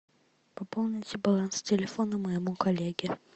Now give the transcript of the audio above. пополните баланс телефона моему коллеге